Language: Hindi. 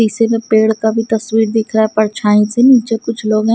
शीशे में पेड़ का भी तस्वीर दिख रहा है परछाई से नीचे कुछ लोग हैं।